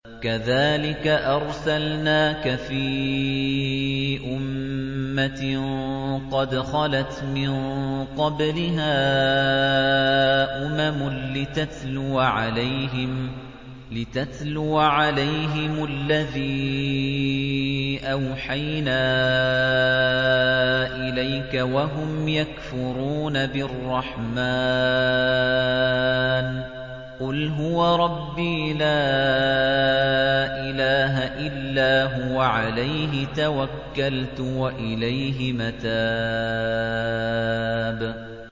كَذَٰلِكَ أَرْسَلْنَاكَ فِي أُمَّةٍ قَدْ خَلَتْ مِن قَبْلِهَا أُمَمٌ لِّتَتْلُوَ عَلَيْهِمُ الَّذِي أَوْحَيْنَا إِلَيْكَ وَهُمْ يَكْفُرُونَ بِالرَّحْمَٰنِ ۚ قُلْ هُوَ رَبِّي لَا إِلَٰهَ إِلَّا هُوَ عَلَيْهِ تَوَكَّلْتُ وَإِلَيْهِ مَتَابِ